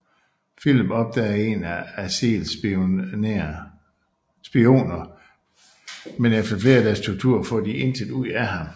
Filip opdager en af Aziels spioner men efter flere dages tortur får de intet ud af ham